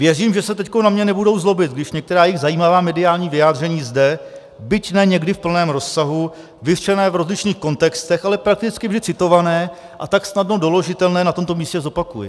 Věřím, že se teď na mě nebudou zlobit, když některá jejich zajímavá mediální vyjádření zde, byť ne někdy v plném rozsahu, vyřčená v rozlišných kontextech, ale prakticky vždy citovaná a tak snadno doložitelná, na tomto místě zopakuji.